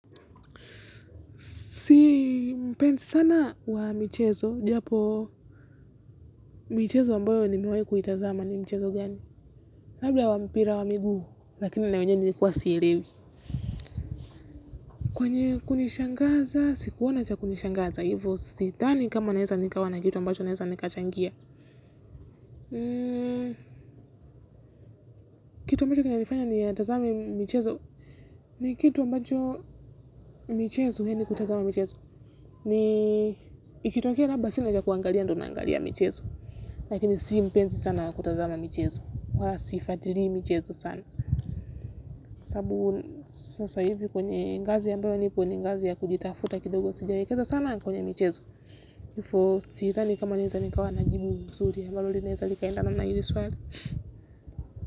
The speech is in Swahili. Si mpensi sana wa michezo. Japo michezo ambayo nimewai kuitazama ni mchezo gani. Labla wa mpira wa miguu. Lakini na wenye nilikuwa sielewi. Kwenye kunishangaza, sikuona cha kunishangaza. Hivo sitani kama naesa nikawa na kitu ambacho naesa nikachangia. Kitu ambacho kina nifanya ni tazama michezo. Ni kitu ambacho michezo niende kutazama michezo. Ni ikitokea labda sina cha kuangalia ndo naangalia michezo. Lakini si mpensi sana kutazama michezo. Wa sifatiri michezo sana saabu sasa hivi kwenye ngazi ambayo nipo ni ngazi ya kujitafuta kidogo sijawekaza sana kwenye michezo ifo sithani kama naeza nikawa na jibu suri ambalo linaeza likaenda na hili swali.